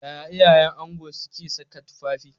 Yaya iyayen ango suka sa tufafi?